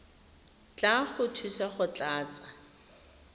tla go thusa go tlatsa